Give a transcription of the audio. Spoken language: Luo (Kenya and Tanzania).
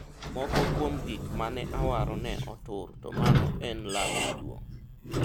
moko kuom gik mane awaro ne otur to mano en lal maduong'